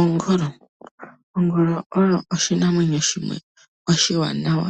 Ongolo, ongolo oyo oshinamwenyo shimwe oshiwanawa